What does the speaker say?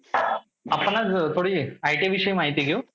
आपण आज थोडी ITI विषयी माहिती घेऊ.